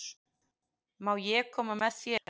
Má ég koma með þér?